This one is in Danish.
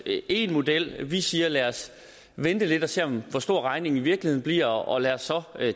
én model vi siger lad os vente lidt og se hvor stor regningen i virkeligheden bliver og lad os så